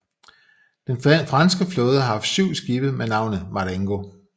Den franske flåde har haft syv skibe med navnet Marengo